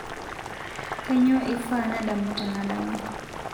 kainyoo eifaa nadamu tenadama